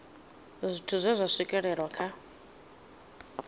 zwithu zwe zwa swikelelwa kha